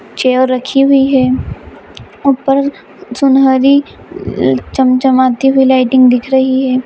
Chair रखी हुई है ऊपर सुनहरी चमचमाती हुई लाइटिंग दिख रही है।